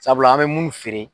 Sabula an bɛ munnu feere